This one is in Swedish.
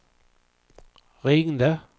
ringde